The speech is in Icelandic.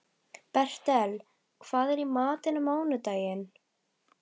Bertel, hvað er í matinn á mánudaginn?